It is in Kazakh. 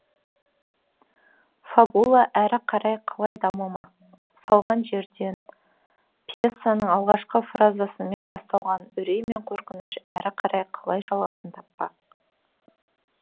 фабула әрі қарай қалай дамымақ салған жерден пьесаның алғашқы фразасымен басталған үрей мен қорқыныш әрі қарай қалай жалғасын таппақ